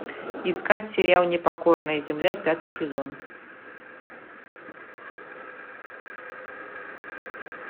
искать сериал непокорная земля пятый сезон